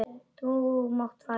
Þú mátt fara núna.